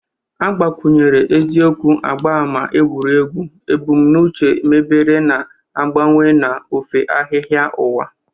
Agbakwunyere eziokwu agba ámá egwuregwu; ebumnuche mebere na-agbawa n'ofe ahịhịa ụwa.